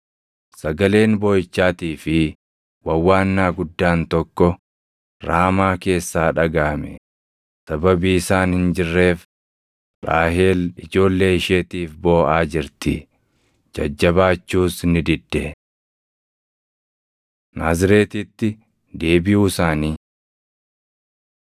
“Sagaleen booʼichaatii fi wawwaannaa guddaan tokko Raamaa keessaa dhagaʼame; sababii isaan hin jirreef, Raahel ijoollee isheetiif booʼaa jirti; jajjabaachuus ni didde.” + 2:18 \+xt Erm 31:15\+xt* Naazreetitti Deebiʼuu Isaanii